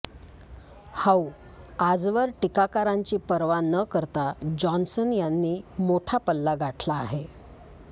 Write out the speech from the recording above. हउ आजवर टीकाकारांची पर्वा न करता जॉन्सन यांनी मोठा पल्ला गाठला आहे